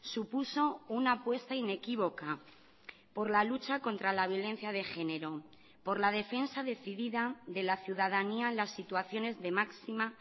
supuso una apuesta inequívoca por la lucha contra la violencia de género por la defensa decidida de la ciudadanía en las situaciones de máxima